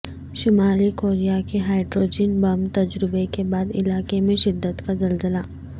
شمالی کوریا کے hydrogen bomb تجربے کے بعد علاقے میں شدت کا زلزلہ